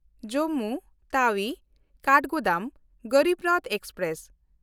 Jammu ᱛᱟᱣᱤ–ᱠᱟᱴᱷᱜᱳᱫᱟᱢ Garib Rath express